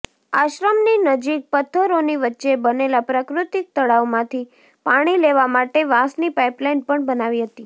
આશ્રમની નજીક પથ્થરોની વચ્ચે બનેલા પ્રાકૃતિક તળાવમાંથી પાણી લેવા માટે વાંસની પાઇપલાઇન પણ બનાવી હતી